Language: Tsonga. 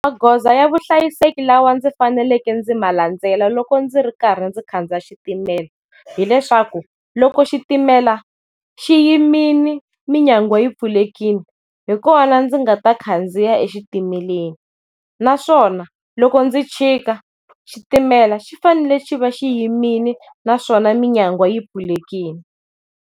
Magoza ya vuhlayiseki lawa ndzi faneleke ndzi ma landzela loko ndzi ri karhi ndzi khandziya xitimela hileswaku loko xitimela xi yimile minyangwa yi pfulekile hi kona ndzi nga ta khandziya e xitimeleni, naswona loko ndzi chika xitimela xi fanele xi va xiyimile naswona minyangwa yi pfulekile.